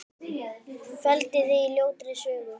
Felldi þig á ljótri sögu.